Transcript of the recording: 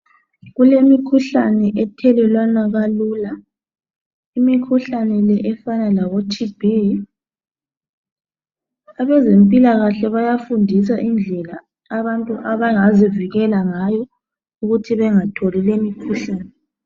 Kulemikhuhlane ethelelwana kalula, imikhuhlane le efana labo TB. Abezempilakahle bayafundisa indlela abantu abangazivikela ngayo ukuthi bengatholi lemikhuhlane.